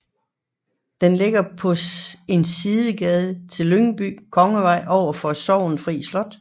Den ligger på en sidegade til Lyngby Kongevej overfor Sorgenfri Slot